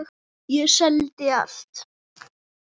Ég seldi allt.